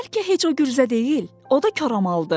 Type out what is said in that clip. bəlkə heç o gürzə deyil, o da koramaldır.